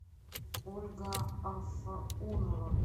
ольга афаунова